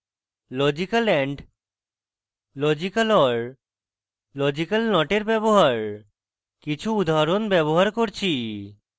logical and